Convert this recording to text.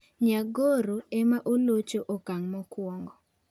Nyagoro ema olocho okang mokwongo.